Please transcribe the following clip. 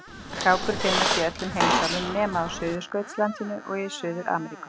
Krákur finnast í öllum heimsálfum nema á Suðurskautslandinu og í Suður-Ameríku.